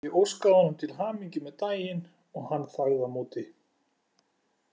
Ég óskaði honum til hamingju með daginn og hann þagði á móti.